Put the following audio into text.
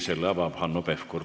Selle avab Hanno Pevkur.